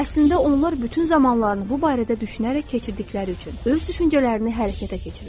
Əslində onlar bütün zamanlarını bu barədə düşünərək keçirdikləri üçün öz düşüncələrini hərəkətə keçirirlər.